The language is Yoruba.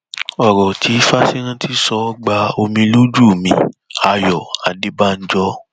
ọrọ tí fásirántí sọ gba omi lójú miayọ adébànjọ